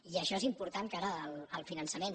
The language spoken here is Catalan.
i això és important cara al finançament